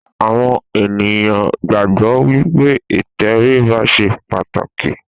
àwọn ènìyàn gbàgbọ́ wípé ìtẹríba ṣe pàtàkì